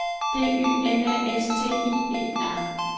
D Y N A S T I E R